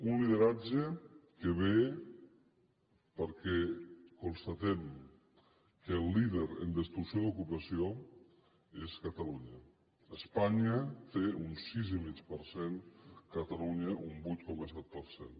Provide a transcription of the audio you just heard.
un lideratge que ve perquè constatem que el líder en destrucció d’ocupació és catalunya espanya té un sis i mig per cent catalunya un vuit coma set per cent